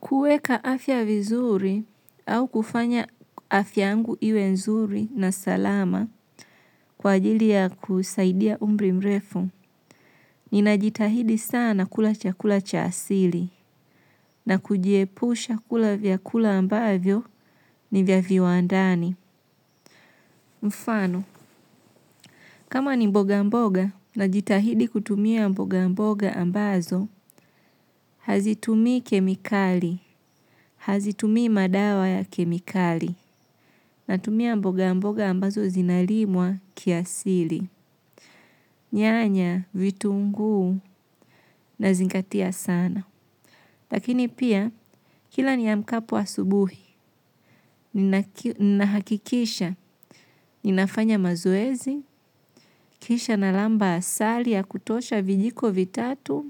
Kuweka afya vizuri au kufanya afya yangu iwe nzuri na salama kwa ajili ya kusaidia umri mrefu. Ninajitahidi sana kula chakula cha asili na kujiepusha kula vyakula ambavyo ni vya viwandani. Mfano, kama ni mboga mboga najitahidi kutumia mboga mboga ambazo, hazitumii kemikali, hazitumii madawa ya kemikali. Natumia mboga mboga ambazo zinalimwa kiasili. Nyanya, vitunguu nazingatia sana. Lakini pia kila niamkapo asubuhi nahakikisha ninafanya mazoezi kisha nalamba asali ya kutosha kijiko vitatu